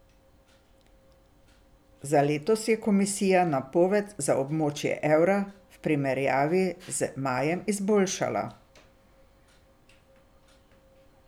Za letos je komisija napoved za območje evra v primerjavi z majem izboljšala.